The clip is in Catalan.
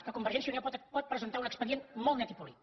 que convergència i unió pot presentar un expedient molt net i polit